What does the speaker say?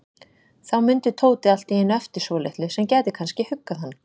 Þá mundi Tóti allt í einu eftir svolitlu sem gæti kannski huggað hann.